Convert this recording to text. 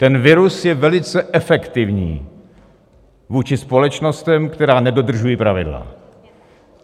Ten virus je velice efektivní vůči společnostem, které nedodržují pravidla.